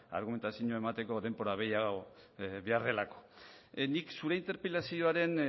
argumentazioa emateko denbora gehiago behar delako nik zure interpelazioaren